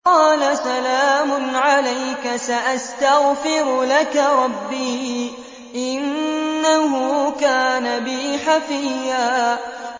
قَالَ سَلَامٌ عَلَيْكَ ۖ سَأَسْتَغْفِرُ لَكَ رَبِّي ۖ إِنَّهُ كَانَ بِي حَفِيًّا